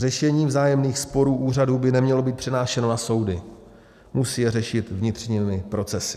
Řešení vzájemných sporů úřadů by nemělo být přenášeno na soudy, musí je řešit vnitřními procesy.